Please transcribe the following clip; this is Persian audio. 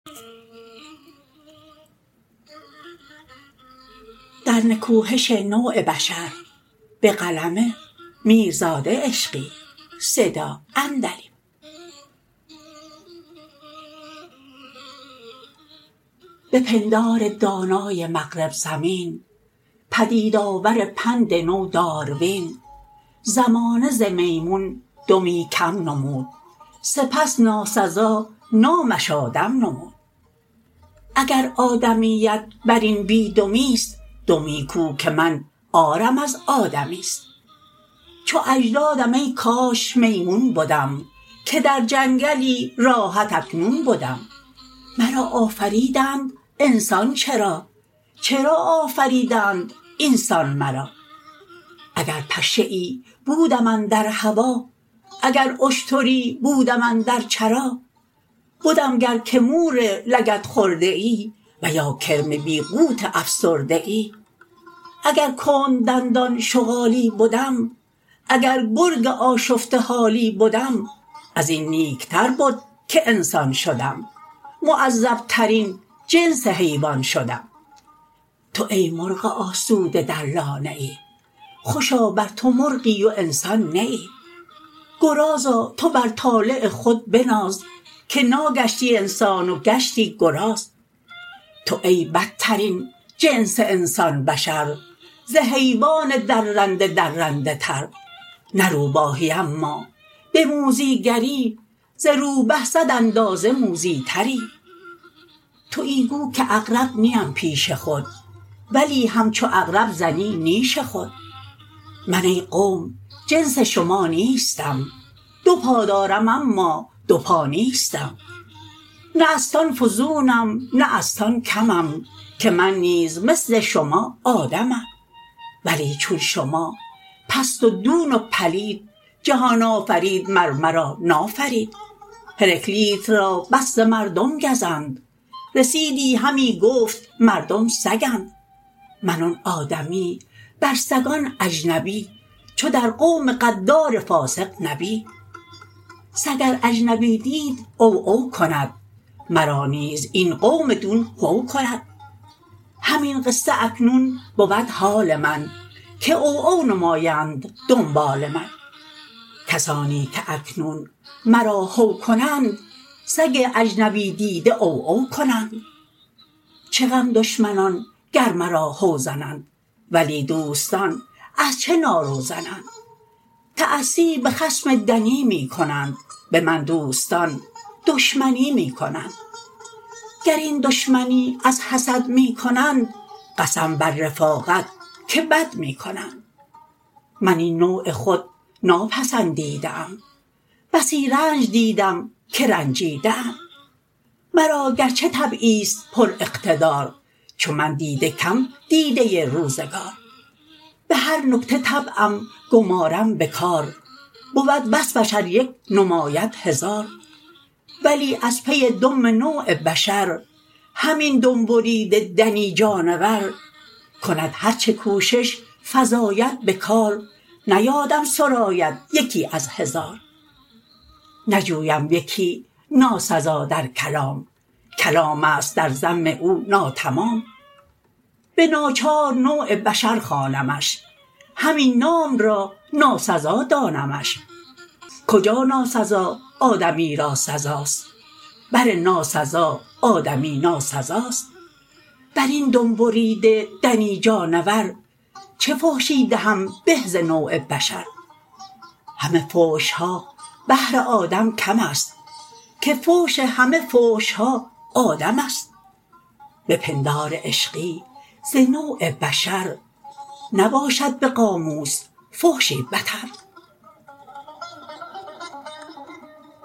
به پندار دانای مغرب زمین پدیدآور پند نو داروین زمانه ز میمون دمی کم نمود سپس ناسزا نامش آدم نمود اگر آدمیت بر این بی دمی ست دمی کو که من عارم از آدمی ست چو اجدادم ای کاش میمون بدم که در جنگلی راحت اکنون بدم مرا آفریدند انسان چرا چرا آفریدند این سان مرا اگر پشه ای بودم اندر هوا اگر اشتری بودم اندر چرا بدم گر که مور لگد خورده ای و یا کرم بی قوت افسرده ای اگر کند دندان شغالی بدم اگر گرگ آشفته حالی بدم از این نیک تر بد که انسان شدم معذب ترین جنس حیوان شدم تو ای مرغ آسوده در لانه ای خوشا بر تو مرغی و انسان نه ای گرازا تو بر طالع خود بناز که ناگشتی انسان و گشتی گراز تو ای بدترین جنس انسان بشر ز حیوان درنده درنده تر نه روباهی اما به موذی گری ز روبه صد اندازه موذی تری تویی گو که عقرب نیم پیش خود ولی همچو عقرب زنی نیش خود من ای قوم جنس شما نیستم دو پا دارم اما دو پا نیستم نه ازتان فزونم نه ازتان کمم که من نیز مثل شما آدمم ولی چون شما پست و دون و پلید جهان آفرین مر مرا نافرید هراکلیت را بس ز مردم گزند رسیدی همی گفت مردم سگند من آن آدمی بر سگان اجنبی چو در قوم غدار فاسق نبی سگ ار اجنبی دید عوعو کند مرا نیز این قوم دون هو کند همین قصه اکنون بود حال من که عوعو نمایند دنبال من کسانی که اکنون مرا هو کنند سگند اجنبی دیده عوعو کنند چه غم دشمنان گر مرا هو زنند ولی دوستان از چه نارو زنند تأسی به خصم دنی می کنند به من دوستان دشمنی می کنند گر این دشمنی از حسد می کنند قسم بر رفاقت که بد می کنند من این نوع خود ناپسندیده ام بسی رنج دیدم که رنجیده ام مرا گرچه طبعی ست پراقتدار چو من دیده کم دیده روزگار به هر نکته طبعم گمارم به کار بود وصفش ار یک نماید هزار ولی از پی ذم نوع بشر همین دم بریده دنی جانور کند هرچه کوشش فزاید به کار نیادم سراید یکی از هزار نجویم یکی ناسزا در کلام کلام است در ذم او ناتمام به ناچار نوع بشر خوانمش همین نام را ناسزا دانمش کجا ناسزا آدمی را سزاست بر ناسزا آدمی ناسزاست بر این دم بریده دنی جانور چه فحشی دهم به ز نوع بشر همه فحش ها بهر آدم کم است که فحش همه فحش ها آدم است به پندار عشقی ز نوع بشر نباشد به قاموس فحشی بتر